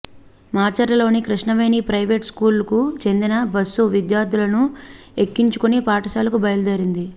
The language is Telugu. మాచర్లలోని కృష్ణవేణి ప్రైవేటు స్కూలుకు చెందిన బస్సు విద్యార్థులను ఎక్కించుకుని పాఠశాలకు బయలుదేరింది